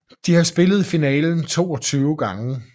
De har spillet i finalen 22 gange